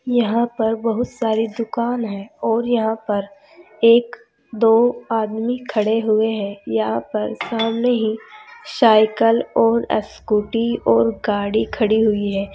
यहां पर बहुत सारी दुकान है और यहां पर एक दो आदमी खड़े हुए हैं यहां पर सामने ही साइकिल और स्कूटी और गाड़ी खड़ी हुई है।